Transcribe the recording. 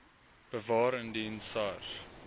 bewaar indien sars